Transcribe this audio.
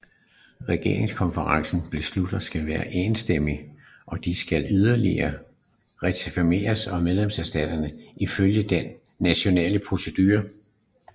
Regeringskonferencens beslutninger skal være enstemmige og de skal yderligere ratificeres af medlemsstaterne ifølge de nationale procedurer